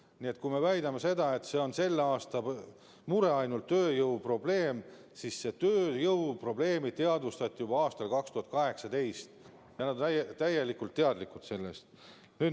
Nii et kui me väidame, et tööjõu probleem on ainult selle aasta mure, siis see ei ole õige, sest seda probleemi teadvustati juba aastal 2018, juba siis oldi sellest täiesti teadlik.